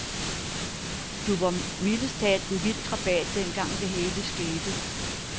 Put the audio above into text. Du var jo mildest talt en vild krabat dengang, det hele skete.